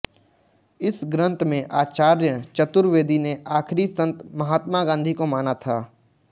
इस ग्रन्थ में आचार्य चतुर्वेदी ने आखिरी संत महात्मा गांधी को माना था